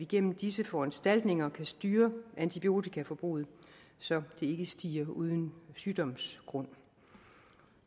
gennem disse foranstaltninger kan styre antibiotikaforbruget så det ikke stiger uden sygdomsgrund